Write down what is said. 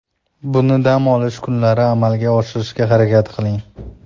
Buni dam olish kunlari amalga oshirishga harakat qiling.